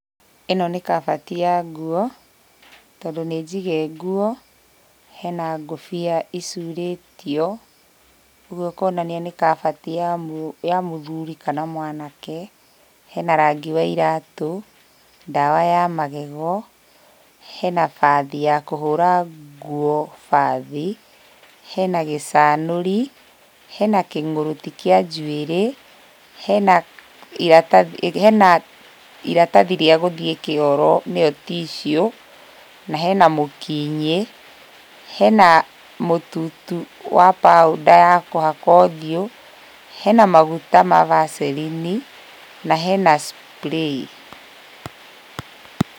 ĩno nĩ kabati ya nguo tondũ nĩnjige nguo. Hena ngũbia icurĩtio ũguo kuonania nĩ kabati ya mũthuri kana mwanake. He na rangi wa iratũ, ndawa ya magego, he na bathi ya kũhũra nguo bathi, he na gĩcanũri, he na kĩnũrũti kĩa njuĩrĩ, he na iratathi he na iratathi ria gũthiĩ kĩoro nĩyo tissue, na hena mũkinyĩ, hena mũtutu wa powder ya kũhakwo ũthiũ, hena maguta ma vaseline na he na spray.